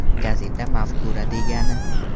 Gazeta mafkura degani.